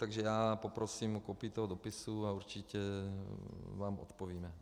Takže já poprosím o kopii toho dopisu a určitě vám odpovíme.